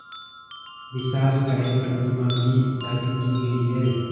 विशालकाय प्रतिमा भी स्थापित की गई है